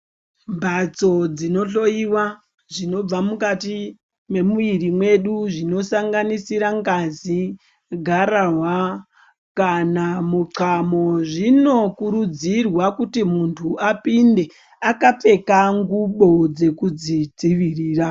Mhatso dzinohloyiwa zvinobva mukati mwemuiri yedu zvinosanganisira ngazi, gararwa kana muxamo. Zvinokurudzirwa kuti munhu apinde akapfeka ngubo dzekuzvidzivirira.